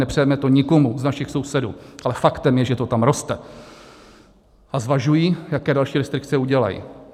Nepřejeme to nikomu z našich sousedů, ale faktem je, že to tam roste, a zvažují, jaké další restrikce udělají.